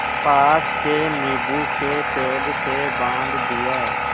पास के नीबू के पेड़ से बाँध दिया